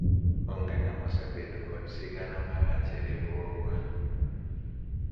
onge ng'ama osebedo kod sigana marach e riwruogwa